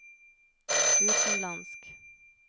utenlandsk